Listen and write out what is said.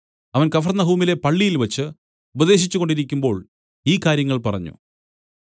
അവൻ കഫർന്നഹൂമിലെ പള്ളിയിൽവെച്ച് ഉപദേശിച്ചുകൊണ്ടിരിക്കുമ്പോൾ ഈ കാര്യങ്ങൾ പറഞ്ഞു